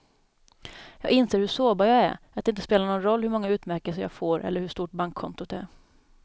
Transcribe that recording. Jag inser hur sårbar jag är, att det inte spelar någon roll hur många utmärkelser jag får eller hur stort bankkontot är.